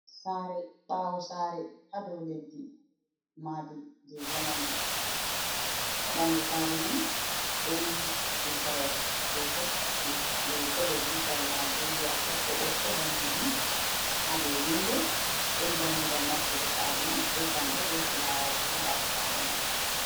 Sare, baawo sare, ha dou leddi. Maadi jei jamanu. Ha ɓandu sare man, ɗon tutawal. Kolo tutawal Nigeria ɓokko-ɓokko, daneejum ha dou windo. Ɗon dammugal nastugo sare man, be jamɗe, be fulawaji ha ɓaawo sare man.